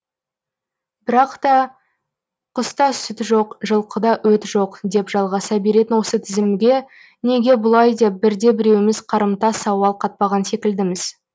бірақ та құста сүт жоқ жылқыда өті жоқ деп жалғаса беретін осы тізімге неге бұлай деп бірде біреуіміз қарымта сауал қатпаған секілдіміз